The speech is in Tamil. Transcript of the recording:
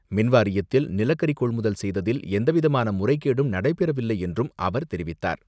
மின்வாரியத்தில் நிலக்கரி கொள்முதல் செய்ததில் எந்த விதமான முறைகேடும் நடைபெற வில்லை என்றும் அவர் தெரிவித்தார்.